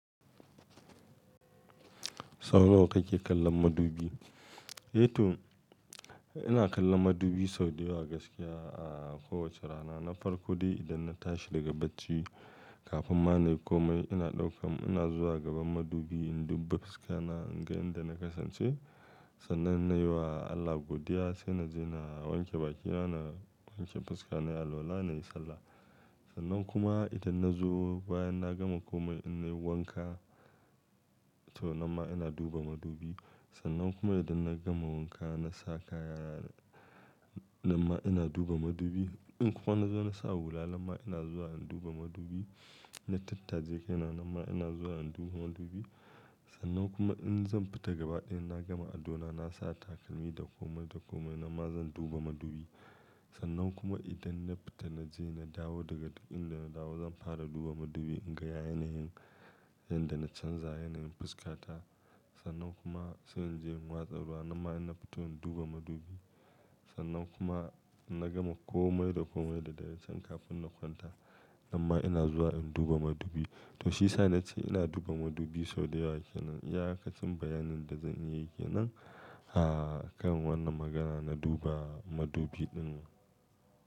Sau nawa kake kallon madubi? Eh toh ina kallon madubi sau da yawa gaskiya a kowace rana. Na farko dai idan na tashi daga bacci kafin ma na yi komai ina ɗaukan ina zuwa gaban madubi in duba fuska na in ga inda na kasance. Sannan na yi wa Allah godiya sai na je na wanke bakina, na wanke fuska na, na yi alwala, na yi sallah. Sannan kuma idan na zo bayan na gama komai ina yi wanka to nan ma ina duba madubi. Sannan kuma idan na gama wanka na sa kayana nan ma ina duba madubi. In kuma na zo na sa hularna nan ma ina zuwa in duba madubi. Na tattaje kai na nan ma ina zuwa in duba madubi. Sannan kuma in zan fita gaba ɗaya na gama addu'a na sa takalmi da komai da komai nan ma zan duba madubi. Sannan kuma idan na fita na je na dawo daga ɗakin da na dawo zan fara duba madubi in ga yanayin yadda na canza yanayin fuska ta. Sannan kuma sai in je in watsa ruwa nan ma ina fito in duba madubi. Sannan kuma in na gama komai da komai da na yi can kafin na kwanta nan ma ina zuwa in duba madubi. To shiyasa nace ina duba madubi sau da yawa ke nan. Iya ka cin bayanin da zan iya yi ke nan a kan wannan magana na duba madubi ɗin.